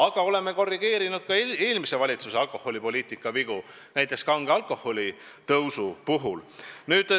Aga me oleme korrigeerinud ka eelmise valitsuse alkoholipoliitika vigu, näiteks kange alkoholi aktsiisi tõstmise puhul.